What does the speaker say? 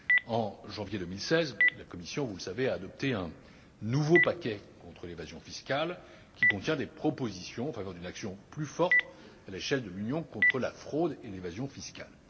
En janvier 2016, la Commission, vous le savez, a adopté un nouveau paquet contre l'évasion fiscale, qui contient des propositions en faveur d'une action plus forte à l'échelle de l'Union contre la fraude et l'évasion fiscales.